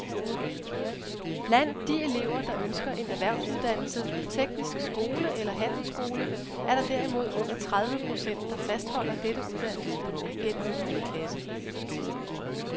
Blandt de elever, der ønsker en erhvervsuddannelse på teknisk skole eller handelsskole, er der derimod under tredive procent, der fastholder dette uddannelsesønske gennem niende klasse.